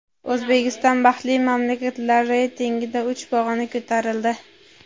O‘zbekiston baxtli mamlakatlar reytingida uch pog‘ona ko‘tarildi.